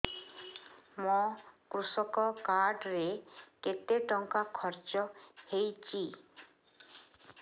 ମୋ କୃଷକ କାର୍ଡ ରେ କେତେ ଟଙ୍କା ଖର୍ଚ୍ଚ ହେଇଚି